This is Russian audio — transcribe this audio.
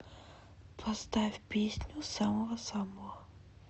поставь песню самого самого